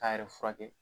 K'a yɛrɛ furakɛ